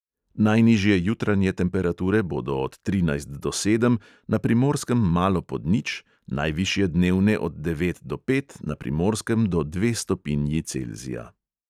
Najnižje jutranje temperature bodo od trinajst do sedem, na primorskem malo pod nič, najvišje dnevne od devet do pet, na primorskem do dve stopinji celzija.